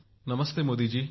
नमस्ते Modi जी